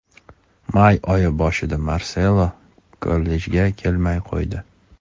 May oyi boshida Marselo kollejga kelmay qo‘ydi.